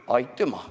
Aitüma!